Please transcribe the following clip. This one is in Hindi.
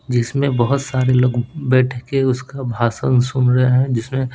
जिसमें बहुत सारे लोग बैठ के उसका भाषण सुन रहे हैं जिसमें--